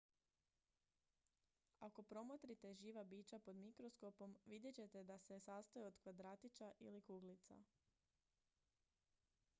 ako promotrite živa bića pod mikroskopom vidjet ćete da se sastoje od kvadratića ili kuglica